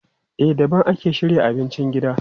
A daban ake shirya abincin gida.